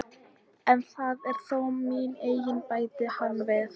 En það er þó mín eign, bætti hann við.